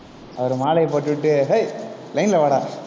அவரு மாலையை போட்டுட்டு, ஏய் line ல வாடா